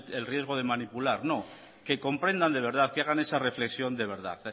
el riesgo de manipular no que comprendan de verdad que hagan esa reflexión de verdad